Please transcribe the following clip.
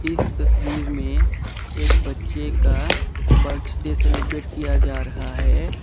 इस तस्वीर में एक बच्चे का बर्थडे सेलिब्रेट किया जा रहा है।